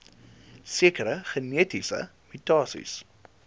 sekere genetiese mutasies